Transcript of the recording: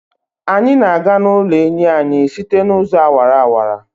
Anyị na-aga n'ụlọ enyi anyị site n'ụzọ awara awara.